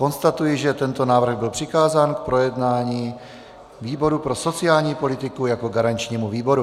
Konstatuji, že tento návrh byl přikázán k projednání výboru pro sociální politiku jako garančnímu výboru.